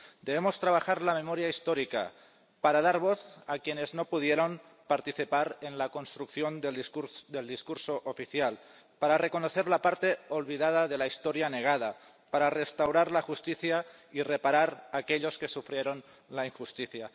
Debemos trabajar la memoria histórica para dar voz a quienes no pudieron participar en la construcción del discurso oficial, para reconocer la parte olvidada de la historia negada, para restaurar la justicia y reparar aquellos que sufrieron la injusticia.